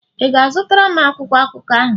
Ị ga-azụtara m akwụkwọ akụkọ ahụ?